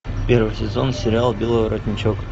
первый сезон сериал белый воротничок